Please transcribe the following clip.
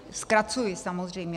- Zkracuji, samozřejmě.